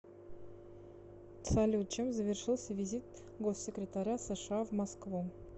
салют чем завершился визит госсекретаря сша в москву